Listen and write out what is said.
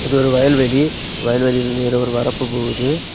இது ஒரு வயல்வெளி வயல்வெளியில் இருந்து இருவர் வரப்போகுது.